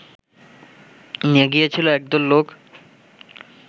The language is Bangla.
নিয়ে গিয়েছিল একদল লোক